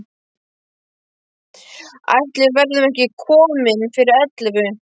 Ætli við verðum ekki komin fyrir ellefu.